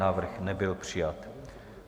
Návrh nebyl přijat.